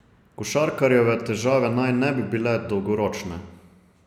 Košarkarjeve težave naj ne bi bile dolgoročne.